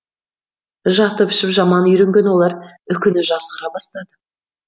жатып ішіп жаман үйренген олар үкіні жазғыра бастады